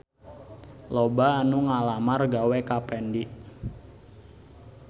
Loba anu ngalamar gawe ka Fendi